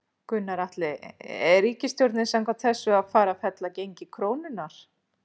Gunnar Atli: Er ríkisstjórnin samkvæmt þessu að fara að fella gengi krónunnar?